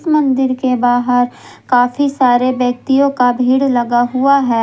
मंदिर के बाहर काफी सारे व्यक्तियों का भीड़ लगा हुआ है।